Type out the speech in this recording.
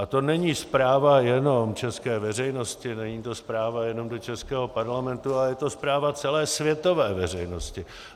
A to není zpráva jenom české veřejnosti, není to zpráva jenom do českého parlamentu, ale je to zpráva celé světové veřejnosti.